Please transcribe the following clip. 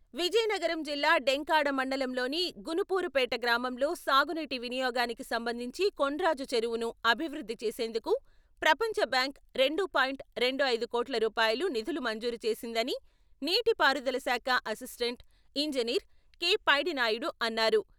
విజయనగరం జిల్లా డెంకాడ మండలంలోని గుణుపూరుపేట గ్రామంలో సాగునీటి వినియోగానికి సంబంధించి కొండ్రాజు చెరువును అభివృద్ధి చేసేందుకు ప్రపంచ బ్యాంకు రెండు పాయింట్ రెండు ఐదు కోట్లు రూపాయల నిధులు మంజూరు చేసిందని నీటి పారుదల శాఖ అసిస్టెంట్ ఇంజినీర్ కె.పైడినాయుడు అన్నారు.